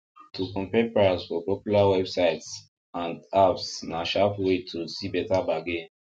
to compare price for popular websites and apps na sharp way to see better bargain